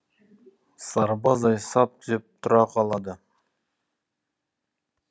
сарбаздай сап түзеп тұра қалады